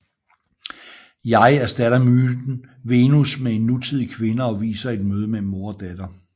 Jeg erstatter myten Venus med en nutidig kvinde og viser et møde mellem mor og datter